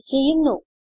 print ചെയ്യുന്നു